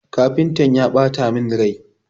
Kafintan ya ɓata min rai.